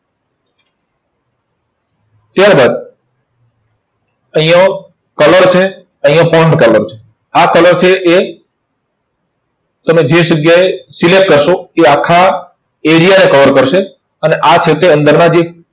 ત્યાર બાદ અહીંયા colour છે અહીંયા colour છે. આ colour છે એ તમે જે જગ્યાએ select કરશો તે આખા area ને cover કરશે. અને આ છે તે અંદરના જે